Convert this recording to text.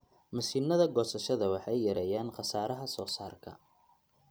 Mashiinnada goosashada waxay yareeyaan khasaaraha soosaarka.